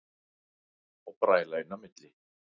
Og bræla inn í milli.